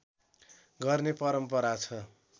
गर्ने परम्परा छ